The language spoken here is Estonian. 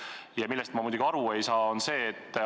Ent ühest asjast ma küll aru ei saa.